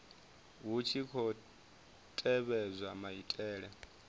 hu tshi khou tevhedzwa maitele